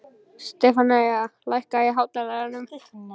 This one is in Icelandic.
Stefanía, lækkaðu í hátalaranum.